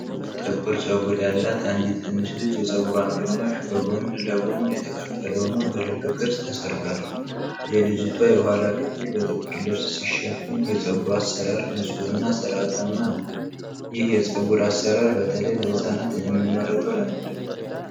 ጥቁር ጸጉር ያላት አንዲት ትንሽ ልጅ የጸጉሯን ግማሽ በጎን ለጎን የተከፈለ ሆኖ በልብ ቅርፅ ተሰርቷል። የልጅቷ የኋላ ክፍል በጥቁር ልብስ ሲሸፈን፣ የጸጉሯ አሰራር ንፁህና ሥርዓታማ ነው። ይህ የፀጉር አሠራር በተለይ ለህፃናት የሚመረጠው ለምንድን ነው?